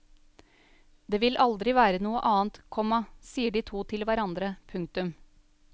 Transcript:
Det vil aldri være noe annet, komma sier de to til hverandre. punktum